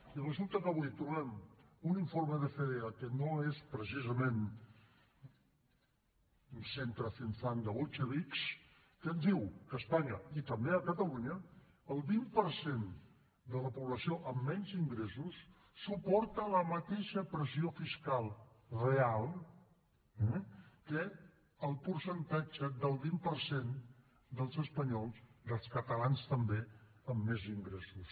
i resulta que avui trobem un informe de fedea que no és precisament un centre think tanki també a catalunya el vint per cent de la població amb menys ingressos suporta la mateixa pressió fiscal real que el percentatge del vint per cent dels espanyols dels catalans també amb més ingressos